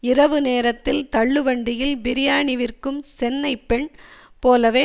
இரவு நேரத்தில் தள்ளு வண்டியில் பிரியாணி விற்கும் சென்னை பெண் போலவே